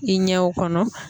I ɲɛw kɔnɔ